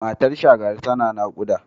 Matar Shagari tana naƙuda.